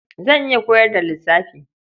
Zan iya koyar da lissafi.